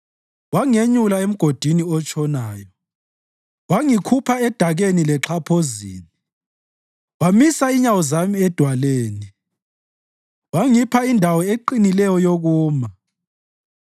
Wangenyula emgodini otshonayo, wangikhupha edakeni lexhaphozini; wamisa inyawo zami edwaleni, wangipha indawo eqinileyo yokuma.